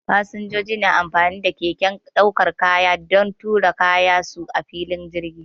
Fasinjoji na amfani da keken daukar kaya don tura kayan su a filin jirgi.